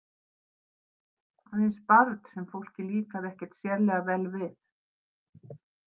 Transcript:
Aðeins barn sem fólki líkaði ekkert sérlega vel við.